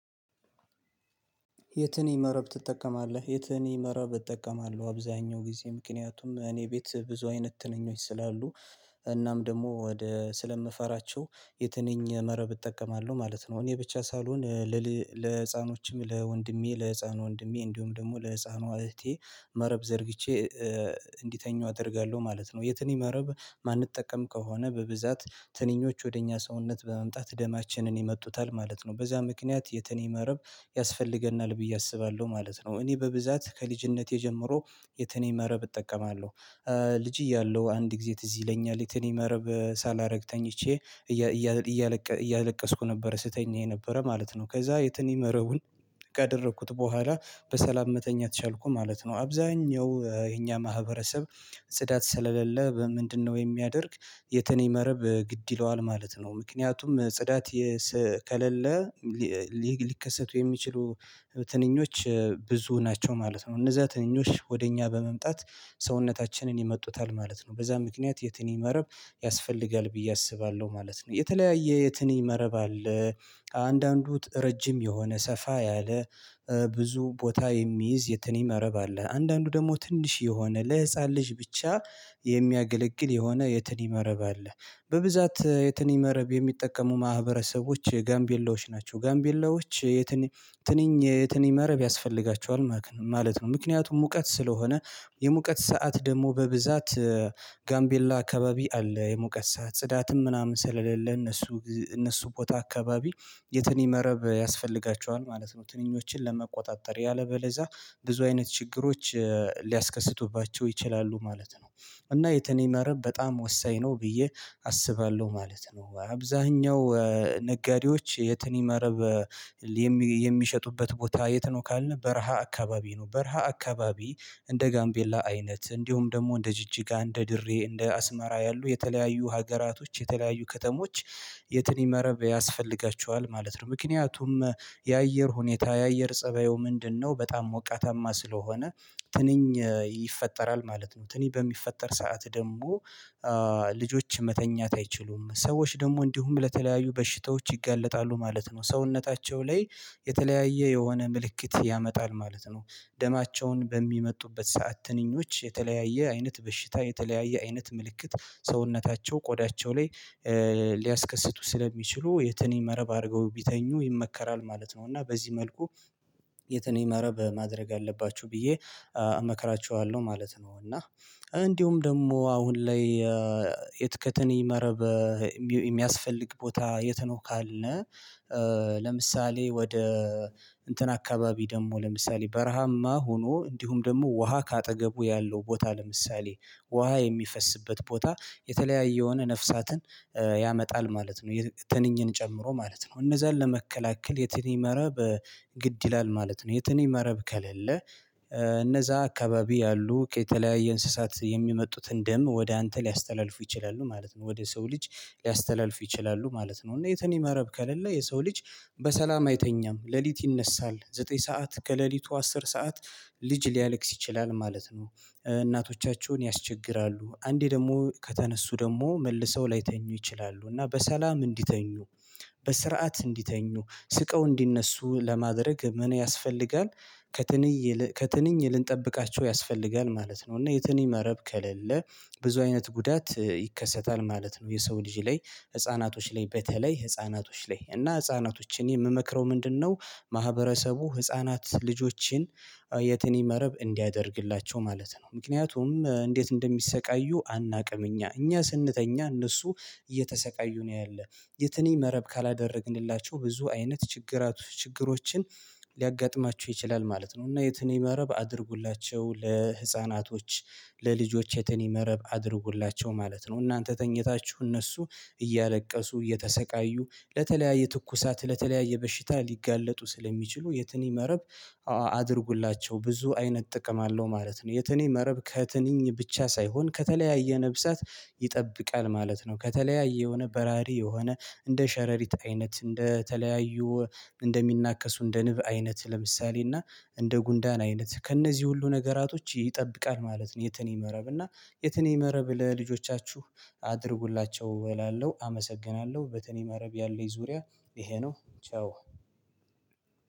የትንኝ መረብ ትጠቀማለህ? የትንኝ መረብ እጠቀማለሁ አብዛኛው ጊዜ ምክንያቱም እኔ ቤት ብዙ አይነት ትንኞች ስላሉ እናም ደግሞ ወደ ስለምፈራቸው የትንኝ መረብ እጠቀማለሁ ማለት ነው እኔ ብቻ ሳልሆን ለህፃኖችም ለወንድሜ ለህፃን ወንድሜ እንዲሁም ደግሞ ለህፃኗ እህቴ መረብ ዘርግቼ እንዲተኙ አደርጋለሁ ማለት ነው። የትንኝ መረብ የማንጠቀም ከሆነ በብዛት ትንኞች ወደ እኛ ሰውነት በመምጣት ደማችንን ይመጡታል ማለት ነው። በዛ ምክንያት የትንኝ መረብ ያስፈልገናል ብዬ አስባለሁ ማለት ነው። እኔ በብዛት ከልጅነቴ ጀምሮ የትንኝ መረብ እጠቀማለሁ ልጅ እያለሁ አንድ ጊዜ ትዝ ይለኛል የትንኝ መረብ ሳላረግ ተኝቼ እያለቀስኩ ነበር ስተኛ የነበረ ማለት ነው ከዛ የትንኝ መረቡን ካደረኩት በኋላ በሰላም መተኛት ቻልኩ ማለት ነው። አብዛኛው የኛ ማህበረሰብ ጽዳት ስለሌለ ምንድነው የሚያደርግ የትንኝ መርብ ግድ ይለዋል ማለት ነው ምክንያቱም ጽዳት ከሌለ ሊከሰቱ የሚችሉ ትንኞች ብዙ ናቸው ማለት ነው። እነዛ ትንኞች ወደ እኛ በመምጣት ሰውነታችንን ይመጡታል ማለት ነው በዛ ምክንያት የትንኝ መረብ ያስፈልጋል ብዬ አስባለሁ ማለት ነው። የተለያየ የትንኝ መረብ አለ አንዳንዱ ረጅም የሆነ ሰፋ ያለ ብዙ ቦታ የሚይዝ የትንኝ መረብ አለ አንዳንዱ ደግሞ ትንሽ የሆነ ለህፃን ልጅ ብቻ የሚያገለግል የሆነ የትንሽ መረብ አለ በብዛት የትንኝ መረብ የሚጠቀሙ ማህበረሰቦች ጋምቤላዎች ናቸው። ጋምቤላዎች የትንኝ ትንኝ የትንኝ መረብ ያስፈልጋቸዋል ማለት ነው ምክንያቱም ሙቀት ስለሆነ የሙቀት ሰዓት ደግሞ በብዛት ጋምቤላ አካባቢ አለ የሞቀት ሰዓት ጽዳትም ምናምን ስለሌለ እነሱ እነሱ ቦታ አካባቢ የትንኝ መረብ ያስፈልጋቸዋል ማለት ነው ትንኞችን ለመቆጣጠር ያለበለዛ ብዙ አይነት ችግሮች ሊያስከስቱባቸው ይችላሉ ማለት ነው እና የትንኝ መረብ በጣም ወሳኝ ነው ብዬ አስባለሁ ማለት ነው አብዛኛው ነጋዴዎች የትንኝ መርብ የሚሸጡበት ቦታ የት ነው ካልነው በረሃ አካባቢ ነው። በረሃ አካባቢ እንደ ጋምቤላ አይነት እንዲሁም ደግሞ እንደ ጅጅጋ እንደ ድሬ እንደ አስመራ ያሉ የተለያዩ ሀገራቶች የተለያዩ ከተሞች የትንኝ መረብ ያስፈልጋቸዋል ማለት ነው ምክንያቱም የአየር ሁኔታ የአየር ፀባዩ ምንድነው በጣም ሞቃታማ ስለሆነ ትንኝ ይፈጠራል ማለት ነው ትንኝ በሚፈጠር ሰዓት ደግሞ ልጆች መተኛት አይችሉም ሰዎች ደግሞ እንዲሁም ለተለያዩ በሽታዎች ይግለጣሉ ማለት ነው። ሰውነታቸው ላይ የተለያየ የሆነ ምልክት ያመጣል ማለት ነው ደማቸውን በሚመጡበት ሰዓት ትንኞች የተለያየ አይነት በሽታ የተለያየ አይነት ምልክት ሰውነታቸው ቆዳቸው ላይ ሊያስከስቱ ስለሚችሉ የትንኝ መረብ አድርገው ቢተኙ ይመከራል ማለት ነው እና በዚህ መልኩ የትንኝ መረብ ማድረግ አለባችሁ ብዬ እመክራቸዋለሁ ማለት ነው እና እንዲሁም ደግሞ አሁን ላይ ከትንኝ መረብ የሚያስፈልግ ቦታ የት ነው ካለ ለምሳሌ ወደ እንትን አካባቢ ደግሞ ለምሳሌ በረሃማ ሆኖ እንዲሁም ደግሞ ውሃ ከአጠገቡ ያለው ቦታ ለምሳሌ ውሃ የሚፈስበት ቦታ የተለያየ የሆነ ነፍሳትን ያመጣል ማለት ነው ትንኝን ጨምሮ ማለት ነው እነዛን ለመከላከል የትንኝ መረብ ግድ ይላል ማለት ነው የትንኝ መረብ ከሌለ እነዛ አካባቢ ያሉ ከተለያየ እንስሳት የሚመጡትን ደም ወደ አንተ ሊያስተላልፉ ይችላሉ ማለት ነው ወደ ሰው ልጅ ሊያስተላልፍ ይችላሉ ማለት ነው እና የትንኝ መረብ ከሌለ የሰው ልጅ በሰላም አይተኛም ሌሊት ይነሳል ዘጠኝ ሰዓት ከሌሊቱ አስር ሰዓት ልጅ ሊያለቅስ ይችላል ማለት ነው እናቶቻቸውን ያስቸግራሉ አንዴ ደግሞ ከተነሱ ደግሞ መልሰው ላይተኙ ይችላሉ እና በሰላም እንዲተኙ፣ በስርዓት እንዲተኙ፣ ስቀው እንዲነሱ፣ ለማድረግ ምን ያስፈልጋል? ከትንኝ ልንጠብቃቸው ያስፈልጋል ማለት ነው እና የትንኝ መረብ ከሌለ ብዙ አይነት ጉዳት ይከሰታል ማለት ነው የሰው ልጅ ላይ ህፃናቶች ላይ በተለይ ህፃናቶች ላይ እና ህፃናቶች እኔ የምመክረው ምንድነው ማህበረሰቡ ህፃናት ልጆችን የትንኝ መረብ እንዲያደርግላቸው ማለት ነው ምክንያቱም እንዴት እንደሚሰቃዩ አናውቅም እኛ እኛ ስንተኛ እነሱ እየተሰቃዩ ነው ያለህ የትንኝ መረብ ካላደረግንላችሁ ብዙ አይነት ችግራት ችግሮችን ሊያጋጥማችሁ ይችላል ማለት ነው እና የትንኝ መረብ አድርጉላቸው ለህፃናቶች ለልጆች የትንኝ መረብ አድርጉላቸው ማለት ነው እናንተ ተኝታችሁ እነሱ እያለቀሱ እየተሰቃዩ ለተለያየ ትኩሳት ለተለያየ በሽታ ሊጋለጡ ስለሚችሉ የትንኝ መረብ አድርጉላቸው ብዙ አይነት ጥቅም አለው ማለት ነው። የትንኝ መረብ ከትንኝ ብቻ ሳይሆን ከተለያየ ነፍሳት ይጠብቃል ማለት ነው ከተለያየ የሆነ በራሪ የሆነ እንደ ሸረሪት አይነት እንደተለያዩ እንደሚናከሱ እንደ ንብ አይነት ለምሳሌ እና እንደ ጉንዳን አይነት ከእነዚህ ሁሉ ነገራቶች ይጠብቃል ማለት ነው የትን የመረብ እና የትንኝ መረብ ለልጆቻችሁ አድርጉላቸው እላለሁ አመሰግናለሁ በትንኝ መረብ ያለኝ ዙሪያ ይሄ ነው ቻው።